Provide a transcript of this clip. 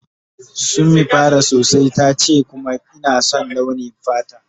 Summi fara sosai ce kuma ina son launi fatan ta.